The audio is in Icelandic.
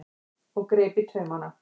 og greip taumana.